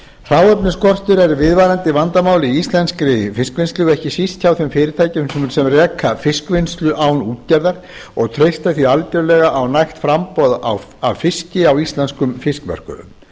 hráefnisskortur er viðvarandi vandamál í íslenskri fiskvinnslu ekki síst hjá þeim fyrirtækjum sem reka fiskvinnslu án útgerðar og treysta því algjörlega á nægt framboð af fiski á íslenskum fiskmörkuðum